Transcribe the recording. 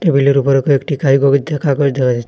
টেবিলের উপরে কয়েকটি খাই দিয়া কাগজ দেখা যায়।